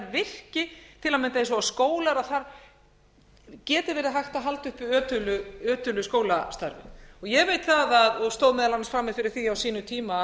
að mynda eins og skólar að þar geti verið hægt að halda uppi ötulu skólastarfi ég veit það og stóð meðal annars frammi fyrir því á sínum tíma